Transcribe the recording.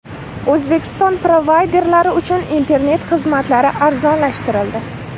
O‘zbekiston provayderlari uchun internet xizmatlari arzonlashtirildi.